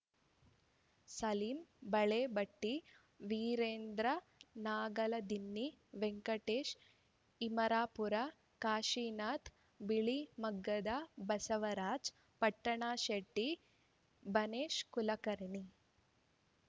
Salim Balabatti Virendra Nagaladinni Venkatesh Imarapur Kashinath Bilimaggad Basavaraj Pattanashetti Banesh Kulkarni